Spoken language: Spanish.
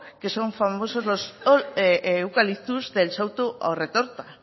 que son famosos los eucaliptos del souto da retorta